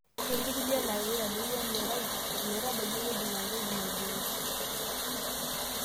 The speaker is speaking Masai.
Ketii ilkulie laa keitadoyio emerai ometabaiki ewueji naa keidim aibooi.